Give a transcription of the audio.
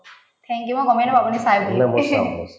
thank you মই গমে নাপাওঁ আপুনি চাই বুলি